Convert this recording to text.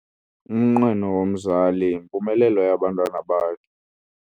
Umnqweno womzali yimpumelelo yabantwana bakhe.